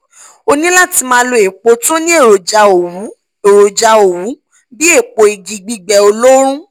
o ní láti máa lo epo tó ní èròjà òwú èròjà òwú bíi epo igi gbigbẹ oloorun